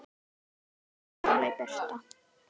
Kveðja, Sóley Birta.